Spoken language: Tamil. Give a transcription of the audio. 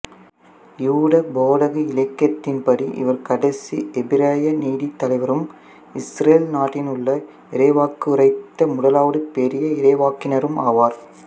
யூத போதக இலக்கியத்தின்படி இவர் கடைசி எபிரேய நீதித்தலைவரும் இசுரேல் நாட்டினுள் இறைவாக்குரைத்த முதலாவது பெரிய இறைவாக்கினரும் ஆவார்